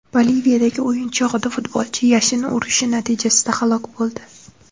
Boliviyadagi o‘yin chog‘ida futbolchi yashin urishi natijasida halok bo‘ldi.